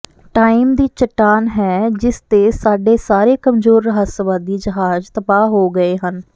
time ਦੀ ਚੱਟਾਨ ਹੈ ਜਿਸ ਤੇ ਸਾਡੇ ਸਾਰੇ ਕਮਜ਼ੋਰ ਰਹੱਸਵਾਦੀ ਜਹਾਜ਼ ਤਬਾਹ ਹੋ ਗਏ ਹਨ